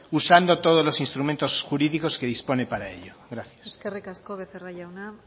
usando todos los instrumentos jurídicos que dispone para ello gracias eskerrik asko becerra jauna